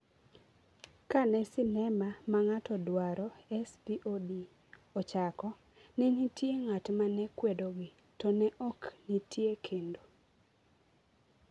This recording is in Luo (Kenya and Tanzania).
Ka ne sinema ma ng’ato dwaro (SVOD) ochako, ne nitie ng’at ma ne kwedogi, to ne ok nitie kendo.